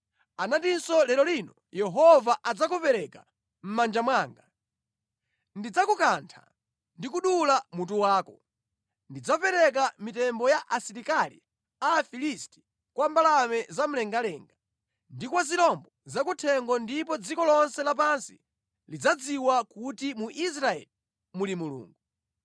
Anatinso lero lino Yehova adzakupereka mʼmanja mwanga. Ndidzakukantha ndi kudula mutu wako. Ndidzapereka mitembo ya asilikali a Afilisti kwa mbalame za mlengalenga, ndi kwa zirombo zakuthengo ndipo dziko lonse lapansi lidzadziwa kuti mu Israeli muli Mulungu.